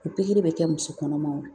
O pikiri bɛ kɛ muso kɔnɔmaw